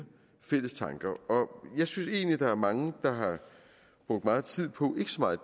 fælles tanker og jeg synes egentlig at der er mange der har brugt meget tid på ikke så meget